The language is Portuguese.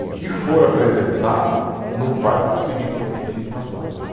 O que for apresentado não vai conseguir competir com as outras.